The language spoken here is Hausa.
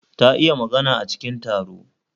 Ta iya magana a cikin taro